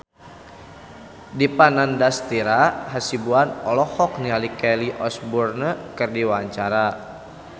Dipa Nandastyra Hasibuan olohok ningali Kelly Osbourne keur diwawancara